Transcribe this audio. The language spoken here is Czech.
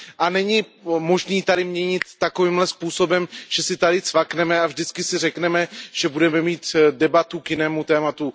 A není možné ji tady měnit takovým způsobem, že si tady cvakneme a vždycky si řekneme, že budeme mít debatu k jinému tématu.